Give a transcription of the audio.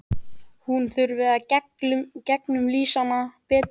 Hún þurfi að gegnumlýsa hann betur.